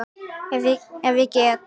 Ef ég get.